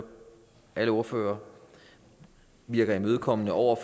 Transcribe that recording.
alle politiske ordførere virker imødekommende over